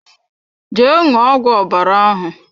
Jee ṅụọ ọgwụ ọbara ahụ!